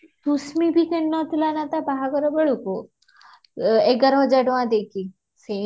କୁଶମି ବି କିଣି ନଥିଲା ନା ତା ବାହାଘର ବେଳକୁ ଏଗାର ହଜାର ଟଙ୍କା ଦେଈକି